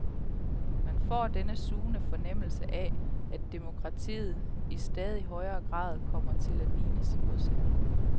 Man får denne sugende fornemmelse af, at demokratiet i stadig højere grad kommer til at ligne sin modsætning.